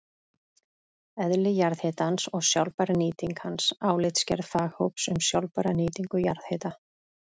Eðli jarðhitans og sjálfbær nýting hans: Álitsgerð faghóps um sjálfbæra nýtingu jarðhita.